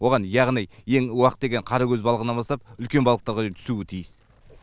оған яғни ең уақ деген қаракөз балығынан бастап үлкен балықтарға дейін түсуі тиіс